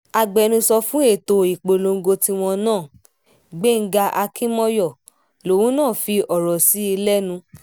agbẹnusọ fún ètò ìpolongo tiwọn náà gbéńgá akínmọ́yọ lòun náà fi ọrọ̀ sí lẹ́nu